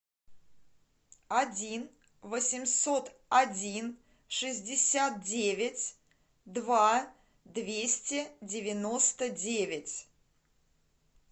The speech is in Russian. один восемьсот один шестьдесят девять два двести девяносто девять